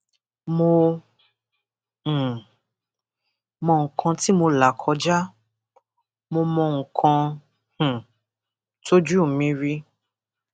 mo um mọ nǹkan tí mo là kọjá mo mọ nǹkan um tọjú mi rí